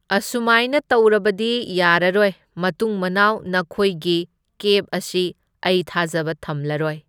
ꯑꯁꯨꯃꯥꯏꯅ ꯇꯧꯔꯕꯗꯤ ꯌꯥꯔꯔꯣꯢ, ꯃꯇꯨꯡ ꯃꯅꯥꯎ ꯅꯈꯣꯏꯒꯤ ꯀꯦꯞ ꯑꯁꯤ ꯑꯩ ꯊꯖꯕ ꯊꯝꯂꯔꯣꯏ꯫